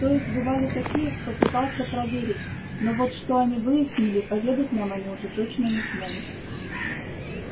то есть бывали такие кто пытался проверить но вот что они выяснили поведать нам они уже точно не смогут